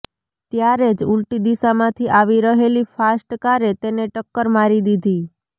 ત્યારે જ ઉલટી દિશામાંથી આવી રહેલી ફાસ્ટ કારે તેને ટક્કર મારી દીધી